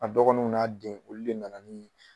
A dɔgɔnunw n'a den olu de nana nii